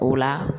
O la